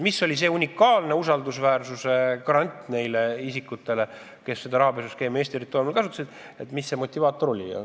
Mis oli see unikaalne usaldusväärsuse garant nendele isikutele, kes seda rahapesuskeemi Eesti territooriumil kasutasid?